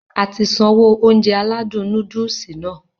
Ati sanwó Ounjẹ aládùn nóódùsì Nàá